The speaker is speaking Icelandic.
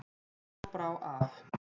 Þá brá ef.